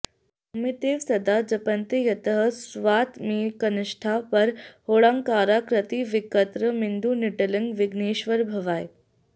ओमित्येव सदा जपन्ति यतयः स्वातमैकनिष्ठाः परं ह्योङ्काराकृतिवक्त्रमिन्दुनिटिलं विघ्नेश्वरं भवाये